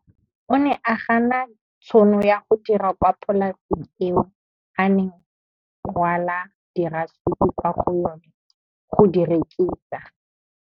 O ne a gana tšhono ya go dira kwa polaseng eo a neng rwala diratsuru kwa go yona go di rekisa.